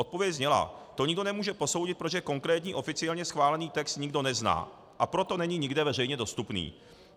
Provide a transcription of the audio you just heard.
Odpověď zněla: To nikdo nemůže posoudit, protože konkrétní oficiálně schválený text nikdo nezná, a proto není nikde veřejně dostupný.